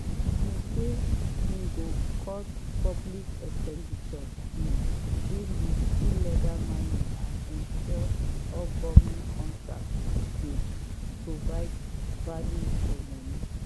im say im go cut public expenditure um deal wit illegal mining and ensure all goment contracts dey provide value for money.